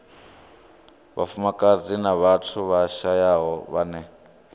vhafumakadzi na vhathu vhashayaho vhane